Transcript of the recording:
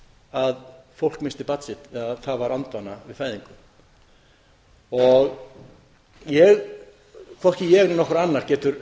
að fólk missti barn sitt það var andvana við fæðingu hvorki ég né nokkur annar getur